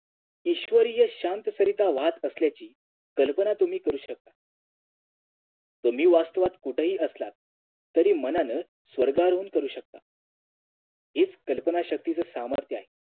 ईश्वरीय शांतसरिता वाहत असल्याची कल्पना तुम्ही करू शकता तुम्ही वास्तवात कुठेही असलात तरी मनान स्वर्गानुभव करू शकता हेच कल्पना शक्तीच सामर्थ्य आहे